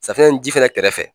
Safinɛ ni ji fana kɛrɛfɛ.